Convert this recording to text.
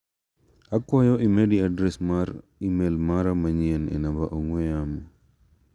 Akwayo imedi adres mar imel mara manyien e namba ong'ue yamo .